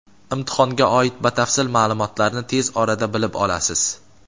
Imtihonga oid batafsil maʼlumotlarni tez orada bilib olasiz.